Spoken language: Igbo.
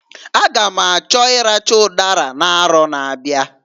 A ga m achọ ịracha ụdara n'arọ na-abịa.